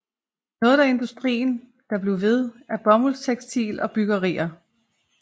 Noget af industrien der blev ved er bomuldtekstil og bryggerier